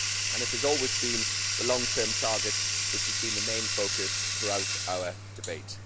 It has always been the long term target that has been the main focus throughout our debate.